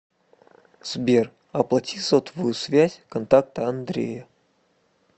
сбер оплати сотовую связь контакта андрея